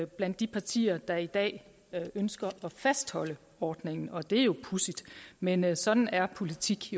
blandt de partier der i dag ønsker at fastholde ordningen og det er jo pudsigt men men sådan er politik